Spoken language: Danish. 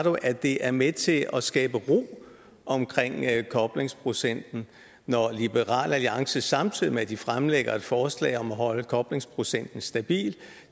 at det er med til at skabe ro omkring koblingsprocenten når liberal alliance samtidig med at de fremsætter et forslag om at holde koblingsprocenten stabil